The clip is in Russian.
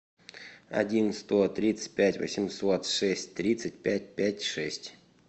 один сто тридцать пять восемьсот шесть тридцать пять пять шесть